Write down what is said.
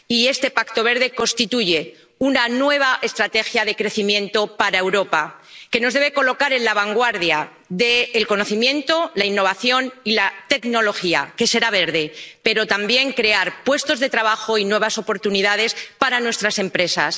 Y este Pacto Verde constituye una nueva estrategia de crecimiento para Europa que nos debe colocar en la vanguardia del conocimiento, la innovación y la tecnología ―que será verde― pero que también debe crear puestos de trabajo y nuevas oportunidades para nuestras empresas.